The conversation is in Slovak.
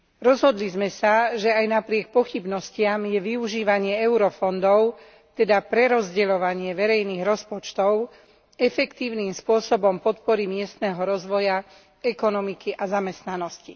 Rozhodli sme sa, že aj napriek pochybnostiam je využívanie eurofondov, teda prerozdeľovanie verejných rozpočtov, efektívnym spôsobom podpory miestneho rozvoja, ekonomiky a zamestnanosti.